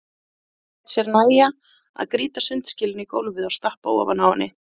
En hann lét sér nægja að grýta sundskýlunni í gólfið og stappa ofan á henni.